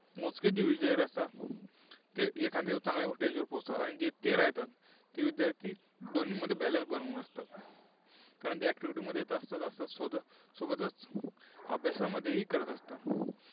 मोजकेच असतात. ते एखाद्या चांगल्या stage वर पोहोचतात. आणि जे येतात ते विद्यार्था दोन्ही मध्ये balance बनवून असतात. कारण ते activity मध्ये तर असतातच, सोबसोबतच अभ्यासामध्येही करत असतात.